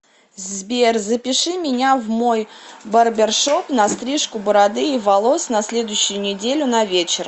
сбер запиши меня в мой барбершоп на стрижку бороды и волос на следующую неделю на вечер